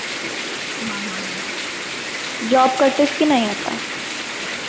Job करतेस के नाही आता?